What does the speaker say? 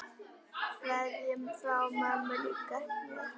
Kveðja frá mömmu líka mér.